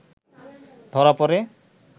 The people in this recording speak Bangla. ধরা প’ড়ে